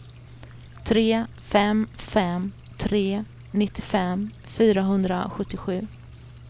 tre fem fem tre nittiofem fyrahundrasjuttiosju